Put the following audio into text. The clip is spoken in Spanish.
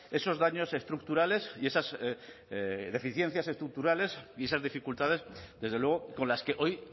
esos daños estructurales y esas deficiencias estructurales y esas dificultades desde luego con las que hoy